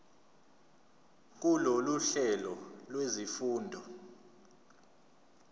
kulolu hlelo lwezifundo